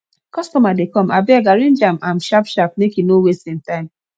customer dey come abeg arrange am am sharp sharp make e no waste im time